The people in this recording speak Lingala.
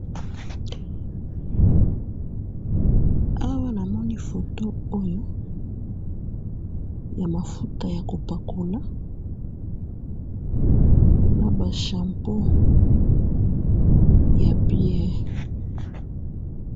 awa namoni photo oyo ya mafuta yako pakola na ba shampoo ya bien